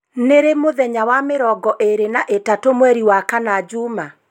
Nĩ ri mũthenya wa mĩrongo ĩĩrĩ na ĩtatũ mweri wa kana juma